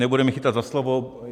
Nebude mě chytat za slovo.